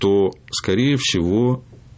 то скорее всего